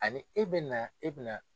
Ani e be na na e be na